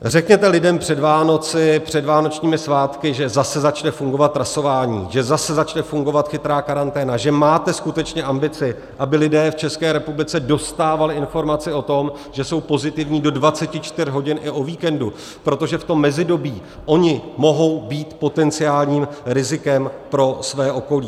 Řekněte lidem před Vánoci, před vánočním svátky, že zase začne fungovat trasování, že zase začne fungovat chytrá karanténa, že máte skutečně ambici, aby lidé v České republice dostávali informace o tom, že jsou pozitivní, do 24 hodin i o víkendu, protože v tom mezidobí oni mohou být potenciálním rizikem pro své okolí.